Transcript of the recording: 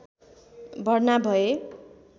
भर्ना भए